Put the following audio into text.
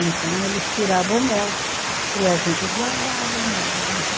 Então eles tiravam o mel e a gente guardava o mel, né?